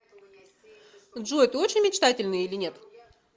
джой ты очень мечтательный или нет